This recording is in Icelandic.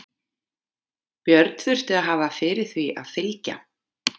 Björn þurfti að hafa fyrir því að fylgja